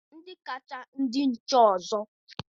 Ndị kacha ndị nche ọzọ